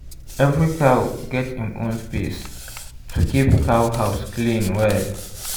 every cow get im own space to keep cow house clean well.